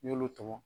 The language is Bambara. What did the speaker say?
N y'olu tɔmɔ